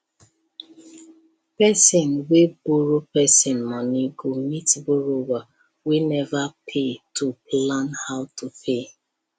person wey borrow person money go meet borrower wey never pay to plan how to pay